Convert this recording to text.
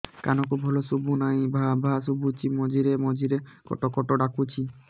କାନକୁ ଭଲ ଶୁଭୁ ନାହିଁ ଭାଆ ଭାଆ ଶୁଭୁଚି ମଝିରେ ମଝିରେ କଟ କଟ ଡାକୁଚି